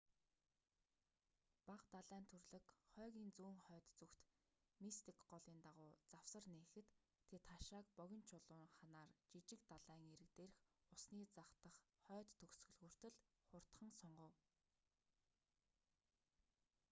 бага далайн түрлэг хойгийн зүүн хойд зүгт мистик голын дагуу завсар нээхэд тэд хашааг богино чулуун ханаар жижиг далайн эрэг дээрх усны зах дах хойд төгсгөл хүртэл хурдхан сунгав